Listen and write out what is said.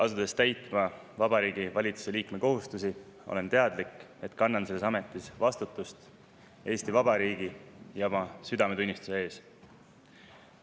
Asudes täitma Vabariigi Valitsuse liikme kohustusi, olen teadlik, et kannan selles ametis vastutust Eesti Vabariigi ja oma südametunnistuse ees.